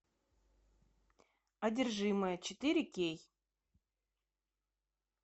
одержимая четыре кей